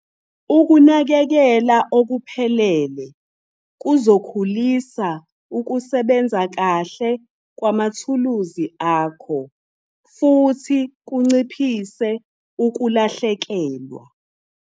Ukunakekela okuphelele kuzokhulisa ukusebenza kahle kwamathuluzi akho futhi kunciphise ukulahlekelwa.